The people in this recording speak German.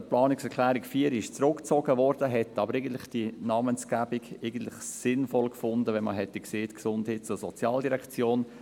Die Planungserklärung 4 wurde zurückgezogen, wir hätten aber eigentlich die Namensgebung «Gesundheits- und Sozialdirektion» sinnvoll gefunden.